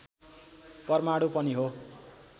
परमाणु पनि हो